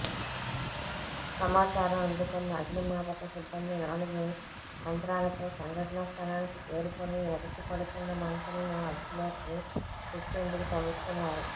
సమాచారం అందుకున్న అగ్నిమాపక సిబ్బంది నాలుగు యంత్రాలతో సంఘటనా స్థలానికి చేరుకుని ఎగసిపడుతున్న మంటలను అదుపులోకి తెచ్చేందుకు శ్రమిస్తున్నారు